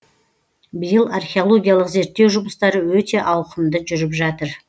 биыл археологиялық зерттеу жұмыстары өте ауқымды жүріп жатыр